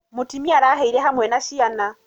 Mũtumia arahĩire hamwe na ciana.